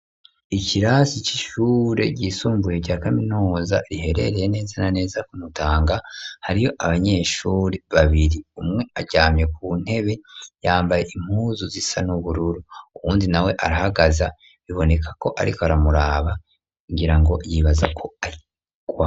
Ikirasi ic'ishure ryisumbuye rya kaminoza riherereye neza na neza kumutanga hariyo abanyeshuri babiri umwe aryamye ku ntebe yambaye impuzu zisa n'ubururu uwundi na we arahagaza biboneka ko, ariko aramuraba kugira ngo yibaza ko ariikwa.